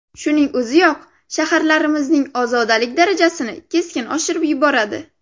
Shuning o‘ziyoq shaharlarimizning ozodalik darajasini keskin oshirib yuboradi.